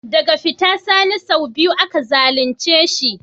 Daga fita Sani sau biyu aka zalunce shi.